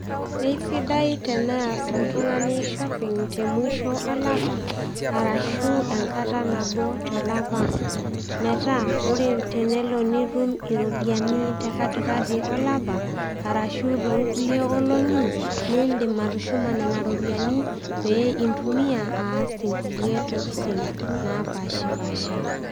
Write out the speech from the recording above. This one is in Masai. Kesidai tenias oltung'ani shopping te mwisho olapa, arashu enkata nabo tolapa. Metaa oore peyie iilo nitum iropiyiani te katikati olapa, arashu tonkulie olong'i niidim atushuma nena ropiyiani pee intumia aas inkulie tokitin napaashipaasha.